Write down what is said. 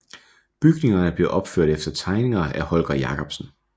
Bygningerne blev opført efter tegninger af Holger Jacobsen